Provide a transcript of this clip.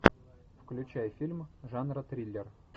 включай фильм жанра триллер